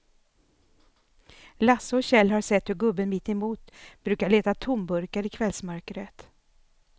Lasse och Kjell har sett hur gubben mittemot brukar leta tomburkar i kvällsmörkret.